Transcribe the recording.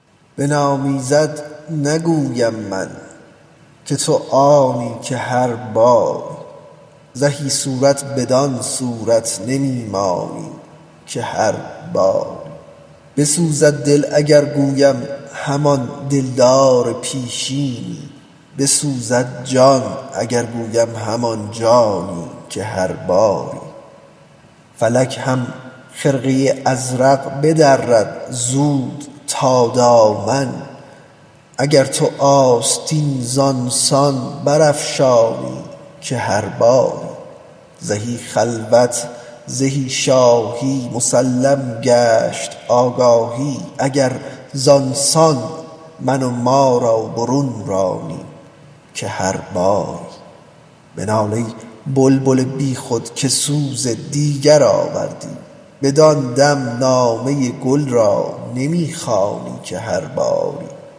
بنامیزد نگویم من که تو آنی که هر باری زهی صورت بدان صورت نمی مانی که هر باری بسوزد دل اگر گویم همان دلدار پیشینی بسوزد جان اگر گویم همان جانی که هر باری فلک هم خرقه ازرق بدرد زود تا دامن اگر تو آستین زان سان برافشانی که هر باری زهی خلوت زهی شاهی مسلم گشت آگاهی اگر زان سان من و ما را برون رانی که هر باری بنال ای بلبل بیخود که سوز دیگر آوردی بدان دم نامه گل را نمی خوانی که هر باری